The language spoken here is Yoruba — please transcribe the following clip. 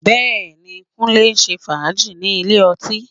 Bẹ́ẹ̀ni, Kúnlé ń ṣe fàájì ní ilé ọtí